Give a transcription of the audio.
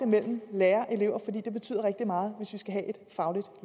mellem lærere og elever fordi det betyder rigtig meget hvis vi skal have et fagligt